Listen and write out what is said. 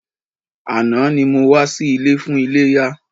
Àná ni mo wá sí ilé fún iléyá.